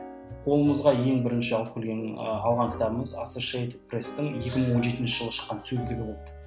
қолымызға ең бірінші алып келген алған кітабымыз екі мың он жетінші жылы шыққан сөздігі болды